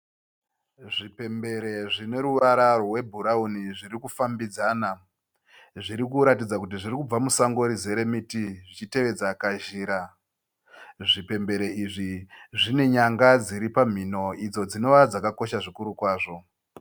Zvipembere zvine ruvara rwebrown zvirikufambidzana zvirikuratidza kuti zviri kubva musango rizere miti zvichitevedza kazhira zvipembere izvi zvinenyanga dziripamhino idzo dzinova dzakakosha zvikuru kwazvo